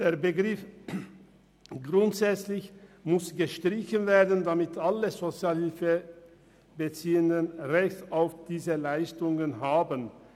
Der Begriff «grundsätzlich» muss gestrichen werden, damit alle Sozialhilfebeziehenden ein Recht auf diese Leistungen haben.